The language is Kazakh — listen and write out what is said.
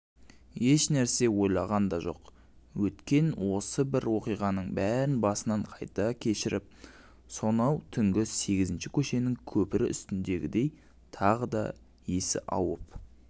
ешнәрсе ойлаған да жоқ өткен осы бір оқиғаның бәрін басынан қайта кешіріп сонау түнгі сегізінші көшенің көпірі үстіндегідей тағы да есі ауып